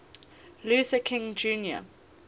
luther king jr